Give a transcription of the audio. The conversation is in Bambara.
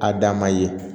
A dama ye